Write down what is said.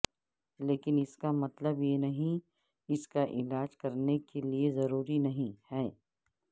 لیکن اس کا مطلب یہ نہیں اس کا علاج کرنے کے لئے ضروری نہیں ہے